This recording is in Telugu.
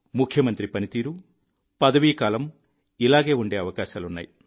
ముఖ్యమంత్రి పని తీరు పదవీకాలం ఇలాగే ఉండే అవకాశాలున్నాయి